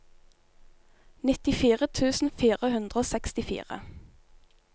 nittifire tusen fire hundre og sekstifire